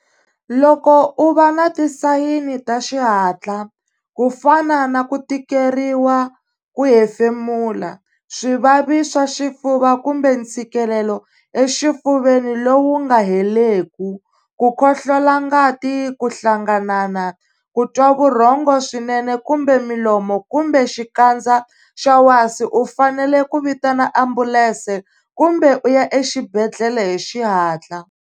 Loko u va na tisayini ta xihatla, ku fana na kutikeriwa ku hefemula, swivavi swa xifuva kumbe ntshikelelo exifuveni lowu wu nga heleku, ku khohlola ngati, ku hlanganana, ku twa vurhongo swinene kumbe milomo kumbe xikandza xa wasi u fanele ku vitana ambulense kumbe u ya exibedhlele hi xihatla.